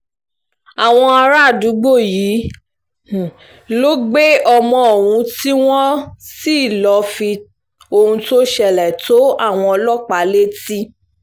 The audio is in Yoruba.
àwọn àràádúgbò yìí um ló gbé ọmọ ohun tí wọ́n um sì lọ́ọ́ fi ohun tó ṣẹlẹ̀ tó àwọn ọlọ́pàá létí